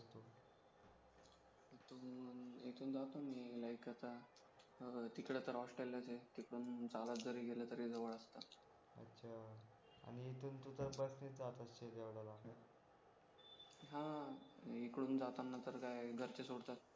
like आता तिकडे तर हॉस्टेललाच आहे तिकडून चालत जरी केलं तरी जवळच असतं आजच्या इथून तू बस ने जात असशील एवढ्या लांब हा इकडून जाताना तर काय घरचेच सोडतात